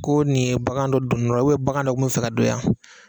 Ko nin ye bagan dɔ don nɔ u be bagan dɔ kun be fɛ ka don yan